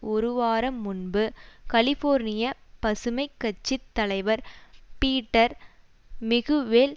ஒரு வாரம் முன்பு கலிபோர்னிய பசுமை கட்சி தலைவர் பீட்டர் மிகுவெல்